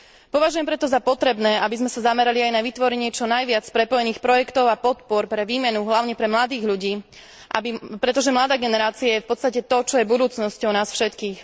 Považujem preto za potrebné, aby sme sa zamerali aj na vytvorenie čo najviac prepojených projektov a podpor pre výmenu hlavne pre mladých ľudí, pretože mladá generácia je v podstate to, čo je budúcnosťou nás všetkých.